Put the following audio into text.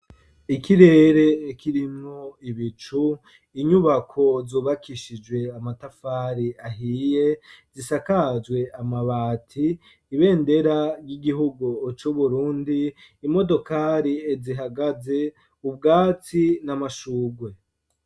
Ikirere kirimwo ibicu inyubako zubakishijwe amatafari ahiye zisakazwe amabati ibendera ry'igihugu c'uburundi imodokari zihagaze ubwatsi n'amashugwe.